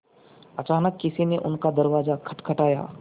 अचानक किसी ने उनका दरवाज़ा खटखटाया